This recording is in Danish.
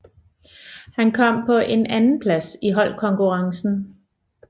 Han kom på en andenplads i holdkonkurrencen